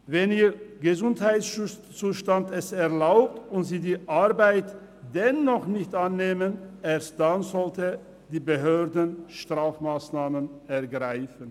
Erst wenn es ihr Gesundheitszustand erlaubt und sie die Arbeit dennoch nicht annehmen, sollten die Behörden Strafmassnahmen ergreifen.